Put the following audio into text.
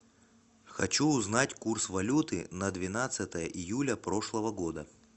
хочу узнать курс валюты на двенадцатое июля прошлого года